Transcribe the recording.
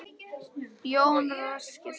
Jón ræskir sig.